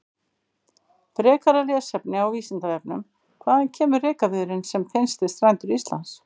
Frekara lesefni á Vísindavefnum: Hvaðan kemur rekaviðurinn sem finnst við strendur Íslands?